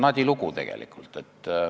Nadi lugu tegelikult.